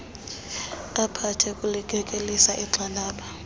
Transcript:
aphathe kulikekelisa igxalaba